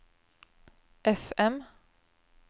FM